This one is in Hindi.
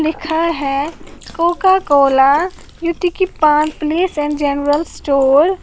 लिखा है Coca Cola Yutika paan place and general store.